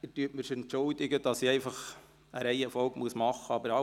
Entschuldigen Sie, dass ich eine Reihenfolge wählen muss.